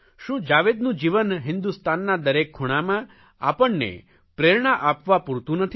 શું જાવેદનું જીવન હિન્દુસ્તાનના દરેક ખૂણામાં આપણે પ્રેરણા આપવા પૂરતું નથી